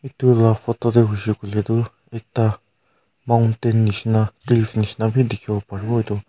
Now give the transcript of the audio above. edu la photo de huishe koile du ekta mountain nishena cliff nishena b dikhibo paribo edu.